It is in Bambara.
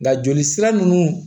Nka joli sira ninnu